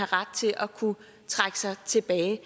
ret til at kunne trække sig tilbage